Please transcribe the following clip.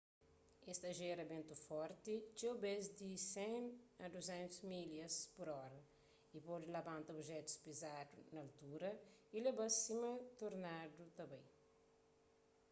es ta jera bentus forti txeu bês di 100-200 milhas/ora y pode labanta obijetus pizadu naltura y leba-s sima tornadu ta bai